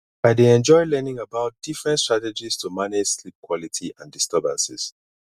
i dey enjoy learning about different strategies to manage sleep quality and disturbances